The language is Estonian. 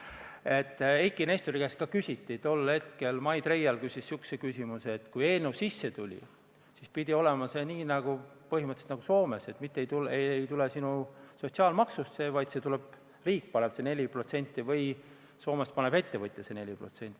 Aga Eiki Nestori käest Mai Treial küsis selle kohta, et kui eelnõu sisse anti, siis pidi see süsteem olema põhimõtteliselt nagu Soomes: mitte ei tule sinu sotsiaalmaksust see summa, vaid riik paneb selle 4% või Soomes paneb ettevõtja selle 4%.